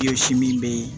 min bɛ yen